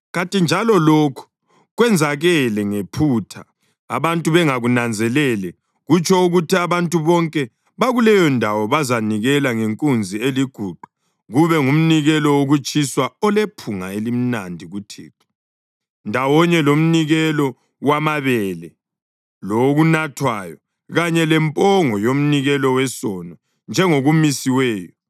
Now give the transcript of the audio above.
kanti njalo lokhu kwenzakele ngephutha abantu bengakunanzelele, kutsho ukuthi abantu bonke bakuleyondawo bazanikela ngenkunzi eliguqa kube ngumnikelo wokutshiswa olephunga elimnandi kuThixo, ndawonye lomnikelo wamabele lowokunathwayo, kanye lempongo yomnikelo wesono njengokumisiweyo.